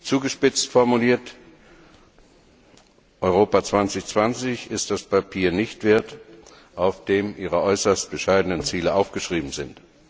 Zugespitzt formuliert Die Strategie Europa 2020 ist das Papier nicht wert, auf dem ihre äußerst bescheidenen Ziele aufgeschrieben sind.